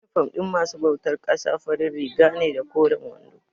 Inifom ɗin masu bautar ƙasa farin riga ne da koren wando.